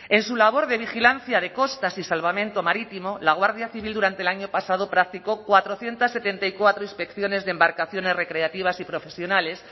en su labor de vigilancia de costas y salvamento marítimo la guardia civil durante el año pasado práctico cuatrocientos setenta y cuatro inspecciones de embarcaciones recreativas y profesionales